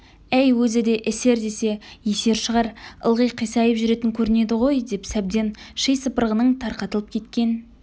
әй өзі де эсер десе есер шығар ылғи қисайып жүретін көрінеді ғой деп сәбден ши сыпырғының тарқатылып кеткен